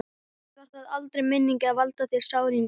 Samt var það aldrei meiningin að valda þér sárindum.